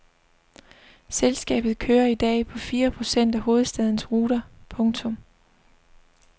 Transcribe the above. Selskabet kører i dag på fire procent af hovedstadens ruter. punktum